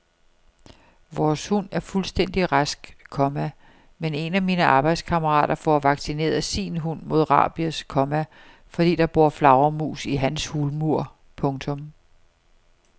Vores hund er fuldstændig rask, komma men en af mine arbejdskammerater får vaccineret sin hund mod rabies, komma fordi der bor flagermus i hans hulmur. punktum